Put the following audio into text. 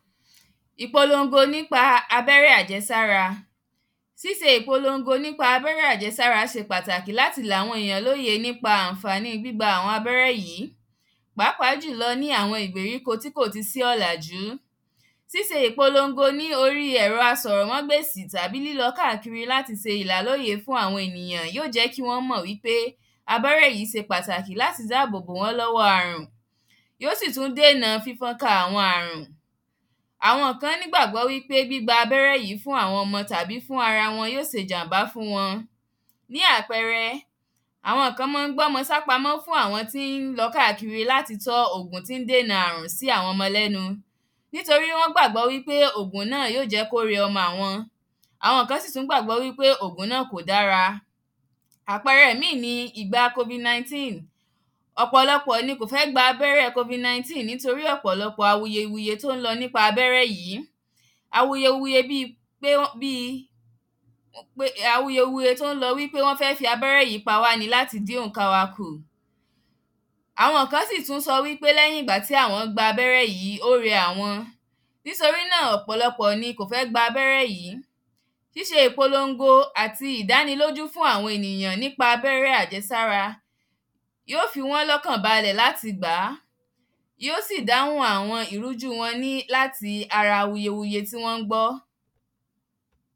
Ìpolongo nípa abẹ́rẹ́ àjẹsára. Síse ìpolongo nípa abẹ́rẹ́ àjẹsára se pàtàkì láti làwọn èyàn lóye nípa àǹfàní gbígba àwọn abẹ́rẹ́ yí. Pàápàá jùlọ ní àwọn igbèríko tí kò ti sí ọ̀làjú. Sise ìpolongo ní orí ẹ̀rọ asọ̀rọ̀ mágbèsì tàbí lílọ káàkiri láti se ìlàlóye fún àwọn ènìyàn yó jẹ́ kí wọ́n mọ̀ wípé abẹ́rẹ́ yí se pàtàkì láti dábòbo wọ́n lọ́wọ́ àrùn. Yó sì tún dènà fífọ́nká àwọn àrùn. Àwo̩n kan nígbàgbọ́ wípé gbígba abẹ́rẹ́ yí fún àwọn ọmọ tàbí fún ara wọn yó sèjàm̀bá fún wọn. Bí àpẹrẹ, àwọn kan mán ń gbọ́mọ sápamọ́ fún àwọn tí ń lọ káàkiri láti tọ́ ogùn tí ń dènà àrùn sí àwọn ọmọ lẹ́nu. Nítorí wọ́n gbàgbọ́ wípé ògùn náà yó jẹ́ kó rẹ ọmọ àwọn. Àwọn kan sì tún gbàgbọ́ pé ògùn náà kò dára. Àpẹrẹ míì ni ìgbà covid-19. Ọ̀pọ̀lọpọ̀ ni kò fẹ́ gba abẹ́rẹ́ covid-19 nítorí ọ̀pọ̀lọpọ̀ awuyewuye nípa abẹ́rẹ́ yí. Awuyewuye bíi pé wọ́n bíi pé awuyewuye tó ń lọ wípé wọ́n fẹ́ fi abẹ́rẹ́ yí pawá ni láti dín òǹkà wa kù. Àwọn kán sì tún sọ wípé lẹ́yìn ìgbà tí àwọ́n gba abẹ́rẹ́ jí, ó rẹ àwọn. Nítorí náà, ọ̀pọ̀lọpọ̀ ni kò fẹ́ gba abẹ́rẹ́ yí. Síse ìpolongo àti ìdánilójú fún àwọn ènìyàn nípa abẹ́rẹ́ àjẹsára yó fi wọ́n lọkàn balẹ̀ láti gbà á. Yó sì dáhùn àwọn ìrújú wọn ní láti ara awuyewuye tí wọ́n ń gbọ́.